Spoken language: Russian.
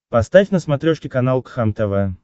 поставь на смотрешке канал кхлм тв